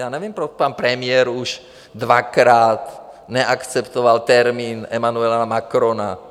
Já nevím, proč pan premiér už dvakrát neakceptoval termín Emmanuela Macrona.